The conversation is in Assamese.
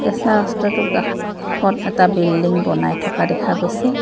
কেঁচা ৰাস্তাটোৰ কাষত এটা বিল্ডিং বনাই থকা দেখা গৈছে।